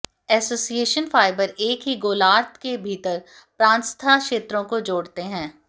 association fibre एक ही गोलार्द्ध के भीतर प्रांतस्था क्षेत्रों को जोड़ते हैं